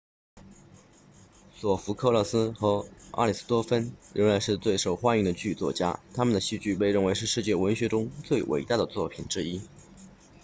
索福克勒斯 sophocles 和阿里斯托芬 aristophanes 仍然是受欢迎的剧作家他们的戏剧被认为是世界文学中最伟大的作品之一